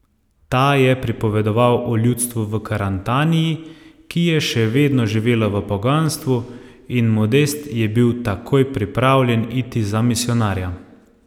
Ta je pripovedoval o ljudstvu v Karantaniji, ki je še vedno živelo v poganstvu, in Modest je bil takoj pripravljen iti za misijonarja.